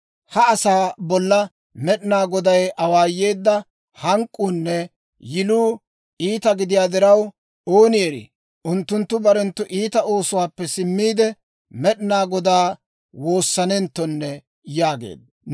Ha asaa bolla Med'inaa Goday awaayeedda hank'k'uunne yiluu iita gidiyaa diraw, ooni erii, unttunttu barenttu iita oosuwaappe simmiide, Med'inaa Godaa woossanenttonne» yaageedda.